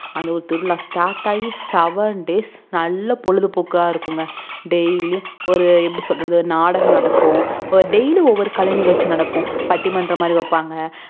அந்த ஒரு திருவிழா start ஆகி sevendays நல்ல பொழுதுபோக்கா இருக்கும்ங்க daily உம் ஒரு எப்புடி சொல்லறது நாடகம் நடக்கும் daily உம் ஒவ்வொரு கலை நிகழ்ச்சி நடக்கும் பட்டிமன்றம் மாதிரி வைப்பாங்க